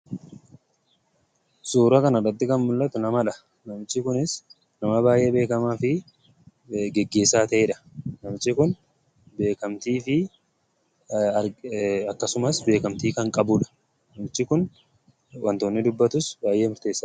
Suura kanarratti kan mul'atu namadha. Namichi kunis nama baay'ee beekamaa fi geggeessaa ta'edha. Namichi kun beekamtii fi akkasumas beekamtii kan qabudha. Namichi kun wanta inni dubbatus baay'ee murteessaadha.